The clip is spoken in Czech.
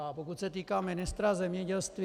A pokud se týká ministra zemědělství.